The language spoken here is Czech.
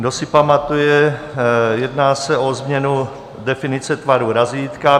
Kdo si pamatuje, jedná se o změnu definice tvaru razítka.